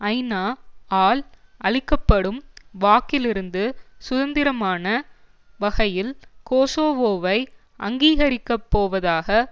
ஐநா ஆல் அளிக்க படும் வாக்கிலிருந்து சுதந்திரமான வகையில் கோசோவோவை அங்கீகரிக்கப்போவதாக